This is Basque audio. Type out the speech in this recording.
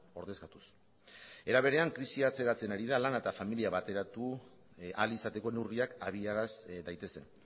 ordezkatuz era berean krisia atzeratzen ari da lana eta familia bateratu ahal izateko neurriak habiaraz daitezen